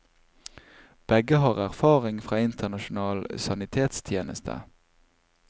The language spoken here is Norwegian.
Begge har erfaring fra internasjonal sanitetstjeneste.